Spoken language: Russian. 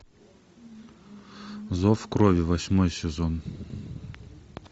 зов крови восьмой сезон